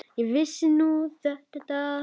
Ekki vissi ég nú þetta.